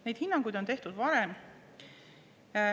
Neid hinnanguid on tehtud ka varem.